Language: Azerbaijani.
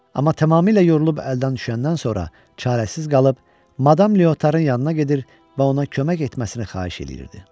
Amma tamamilə yorulub əldən düşəndən sonra çarəsiz qalıb Madam Leotarın yanına gedir və ona kömək etməsini xahiş eləyirdi.